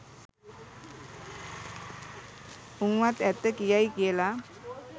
උං වත් ඇත්ත කියයි කියල